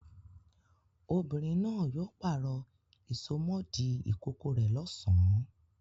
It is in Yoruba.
Obìnrin náà yóò pàrọ̀ ìsomọ́ọ̀dí ìkókó rẹ̀ lọ́sàn-án.